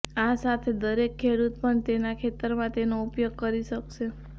આ સાથે દરેક ખેડૂત પણ તેના ખેતરમાં તેનો ઉપયોગ કરી શકશે